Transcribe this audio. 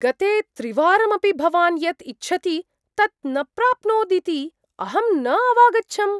गते त्रिवारमपि भवान् यत् इच्छति तत् न प्राप्नोदिति अहं न अवागच्छम्।